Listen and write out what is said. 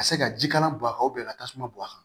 Ka se ka jikalan bɔ a kan ka tasuma bɔ a kan